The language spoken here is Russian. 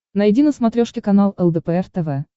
найди на смотрешке канал лдпр тв